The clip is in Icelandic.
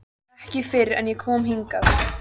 Ekki fyrr en ég kom hingað.